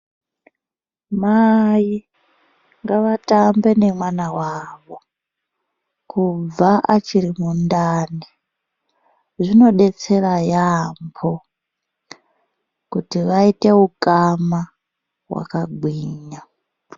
Mai ngavatambe nemwana wavo kubva achiri mundani zvinodetsera yaambo kuti vaite ukama hwakagwinya.